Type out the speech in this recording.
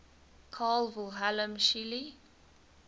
carl wilhelm scheele